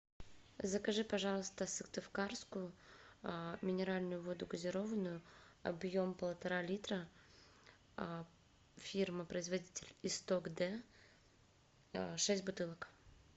закажи пожалуйста сыктывкарскую минеральную воду газированную объем полтора литра фирма производитель исток д шесть бутылок